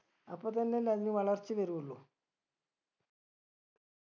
അപ്പൊ തന്നെ അല്ലെ അതിന് വളർച്ച വരുള്ളൂ